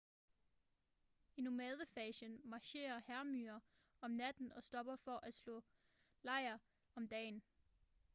i nomadefasen marcherer hærmyrer om natten og stopper for at slå lejr om dagen